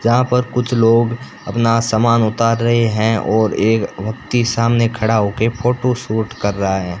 जहां पर कुछ लोग अपना समान उतार रहे हैं और एक व्यक्ति सामने खड़ा होके फोटो शूट कर रहा है।